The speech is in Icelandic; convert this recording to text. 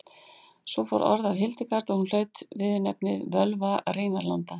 fór mikið orð af hildegard og hlaut hún viðurnefnið völva rínarlanda